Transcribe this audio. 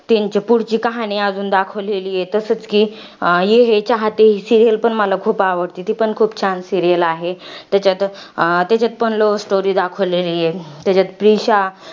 त्यांची पुढची कहाणी अजून दाखवलेली आहे. तसच कि ही serial पण मला खूप आवडते. ती पण खूप छान serial आहे. त्याच्यात, त्याच्यात पण love story दाखवलेली आहे. त्याच्यात प्रीशा